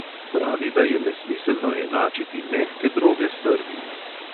Pravi, da je nesmiselno enačiti mehke droge s trdimi.